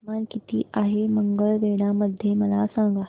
तापमान किती आहे मंगळवेढा मध्ये मला सांगा